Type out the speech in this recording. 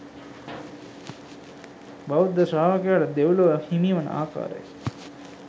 බෞද්ධ ශ්‍රාවකයාට දෙව්ලොව හිමිවන ආකාරය